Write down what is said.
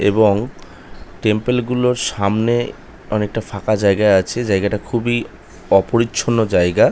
এবং টেম্পলে গুলোর সামনে অনেকটা ফাঁকা জায়গা আছে জায়গাটা খুবই অপরিচ্ছন্ন জায়গা ।